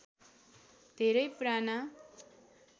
धेरै पुराना